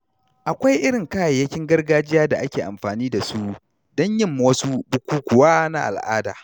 Akwai irin kayayyakin gargajiya da ake amfani da su don yin wasu bukukuwa na al’ada.